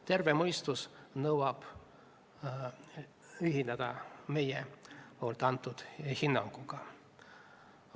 Terve mõistus nõuab ühinemist meie antud hinnanguga.